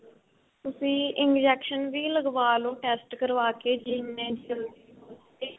ਤੁਸੀਂ injection ਵੀ ਲਗਵਾ ਲੋ test ਕਰਵਾਕੇ ਜਿੰਨੇ ਜਲਦੀ ਹੋ ਸਕੇ